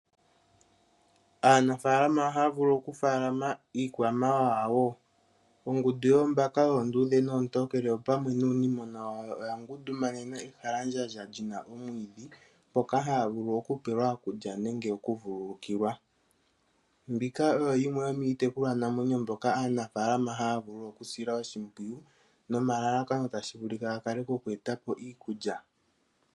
Aanafalama ohaya vulu okufaalama iikwamawawa wo. Ongundu yoombaka oonduudhe noontokele opamwe nuunimona wawo oyangundumanena ehalandjandja lina omwiidhi mpoka haya vulu okupelwa okulya nenge okuvululukilwa. Mbika oyo yimwe yomiitekulwa namwenyo mbyoka aanafalama haya vulu okusila oshimpwiyu nomalalakano tashi vulika gakale gokweeta po iikulya.